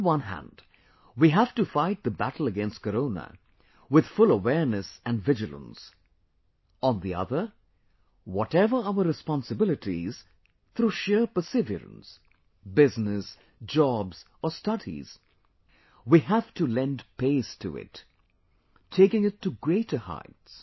On the one hand, we have to fight the battle against Corona with full awareness & vigilance; on the other, whatever our responsibilities, through sheer perseverance... business, jobs or studies... we have to lend pace to it, taking it to greater heights